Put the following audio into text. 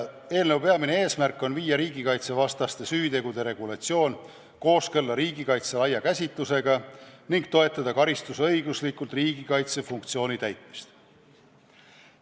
Eelnõu peamine eesmärk on viia riigikaitsevastaste süütegude regulatsioon kooskõlla riigikaitse laia käsitlusega ning toetada karistusõiguslikult riigikaitse funktsiooni täitmist.